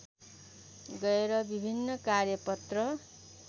गएर विभिन्न कार्यपत्र